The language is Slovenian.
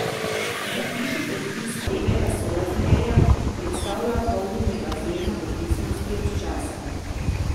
Zapiši predpis premega sorazmerja, ki predstavlja polnjenje bazena v odvisnosti od časa.